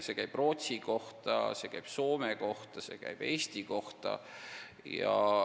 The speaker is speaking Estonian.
See käib Rootsi kohta, see käib Soome kohta, see käib Eesti kohta.